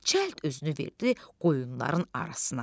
Çəld özünü verdi qoyunların arasına.